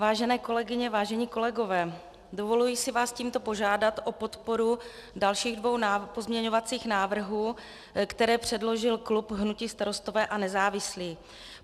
Vážené kolegyně, vážení kolegové, dovoluji si vás tímto požádat o podporu dalších dvou pozměňovacích návrhů, které předložil klub hnutí Starostové a nezávislí.